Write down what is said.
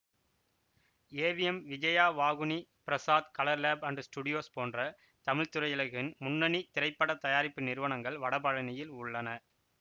AVM Vijaya Vauhini Prasad colour lab and studios போன்ற தமிழ் திரையுலகின் முன்னனி திரைப்பட தயாரிப்பு நிறுவனங்கள் வடபழநியில் உள்ளன